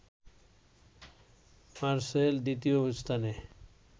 মারসেল দ্বিতীয় স্থানে